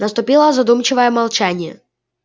наступило задумчивое молчание